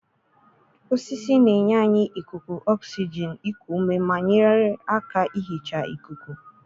osisi na-enye anyị ikuku oxygen iku ume ma nyere aka ihicha ikuku.